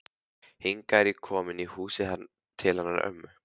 Hingað er ég komin í húsið til hennar ömmu.